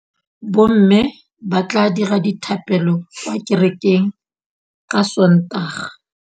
Bommê ba tla dira dithapêlô kwa kerekeng ka Sontaga.